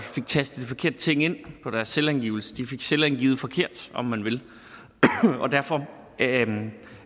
fik tastet forkerte ting ind på deres selvangivelse de fik selvangivet forkert om man vil derfor